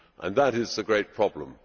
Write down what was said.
That is the great problem.